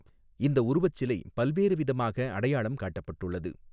இந்த உருவச் சிலை பல்வேறு விதமாக அடையாளம் காட்டப்பட்டுள்ளது.